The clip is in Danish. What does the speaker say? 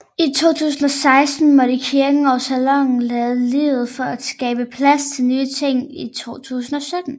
I 2016 måtte kirken og saloonen lade livet for at skabe plads til nye ting i 2017